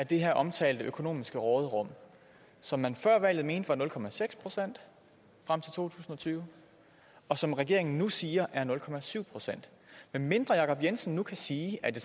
det her omtalte økonomiske råderum som man før valget mente var nul procent frem til to tusind og tyve og som regeringen nu siger er nul procent medmindre jacob jensen nu kan sige at det